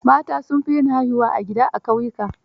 Mata sun fi yin haihuwa a gida, a ƙauyuka.